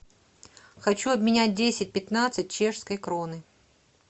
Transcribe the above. хочу обменять десять пятнадцать чешской кроны